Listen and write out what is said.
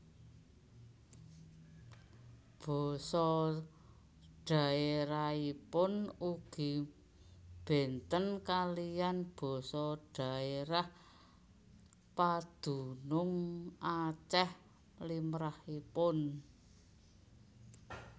Basa dhaèrahipun ugi bénten kaliyan basa dhaèrah padunung Acèh limrahipun